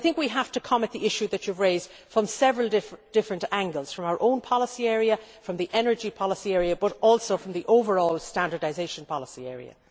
So I think we have to come at the issue which you raised from several different angles from our own policy area, from the energy policy area and also from the overall standardisation policy area.